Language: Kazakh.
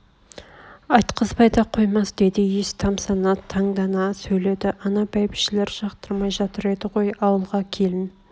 айтқызбай да қоймас деді иіс тамсана таңданып сөйледі ана бәйбшелер жақтырмай жатыр еді ғой ауылға келін